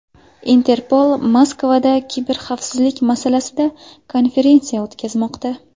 Interpol Moskvada kiberxavfsizlik masalasida konferensiya o‘tkazmoqda.